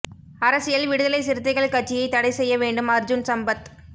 அரசியல் விடுதலை சிறுத்தைகள் கட்சியை தடை செய்ய வேண்டும் அர்ஜூன் சம்பத்